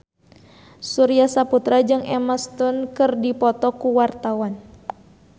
Surya Saputra jeung Emma Stone keur dipoto ku wartawan